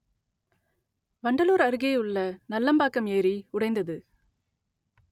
வண்டலூர் அருகேயுள்ள நல்லம்பாக்கம் ஏரி உடைந்தது